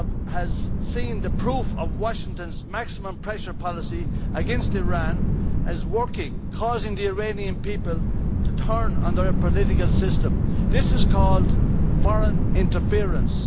has seen the proof of Washington's maximum pressure policy against Iran as working, causing the Iranian people to turn on their political system. This is called foreign interference'.